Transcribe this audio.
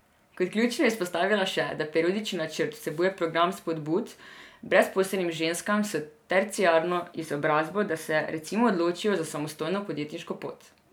Kot ključno je izpostavila še, da periodični načrt vsebuje program spodbud brezposelnim ženskam s terciarno izobrazbo, da se recimo odločijo za samostojno podjetniško pot.